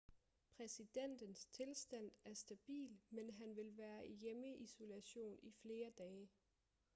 præsidentens tilstand er stabil men han vil være i hjemmeisolation i flere dage